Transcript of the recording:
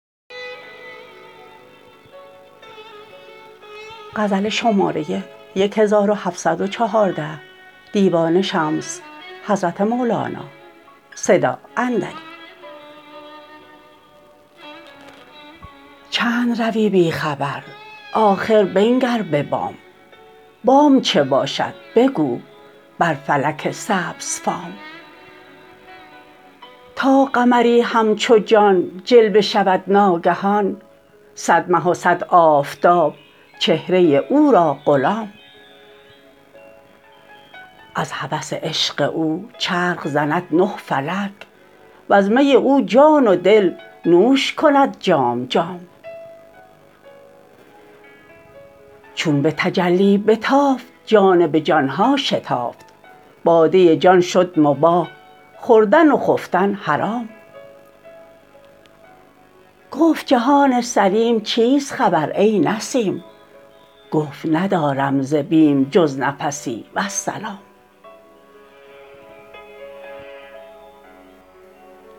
چند روی بی خبر آخر بنگر به بام بام چه باشد بگو بر فلک سبزفام تا قمری همچو جان جلوه شود ناگهان صد مه و صد آفتاب چهره او را غلام از هوس عشق او چرخ زند نه فلک وز می او جان و دل نوش کند جام جام چون به تجلی بتافت جانب جان ها شتافت باده جان شد مباح خوردن و خفتن حرام گفت جهان سلیم چیست خبر ای نسیم گفت ندارم ز بیم جز نفسی والسلام